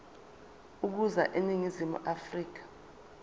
ukuza eningizimu afrika